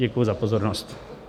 Děkuji za pozornost.